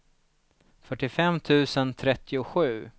fyrtiofem tusen trettiosju